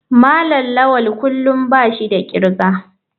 malam lawal kullum bashi da kirga.